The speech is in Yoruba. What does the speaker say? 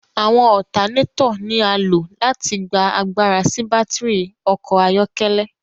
Awọn alternator ni a lo láti gbà àgbàrá sí batiri ọkọ ayọkẹlẹ